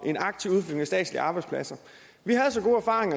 statslige arbejdspladser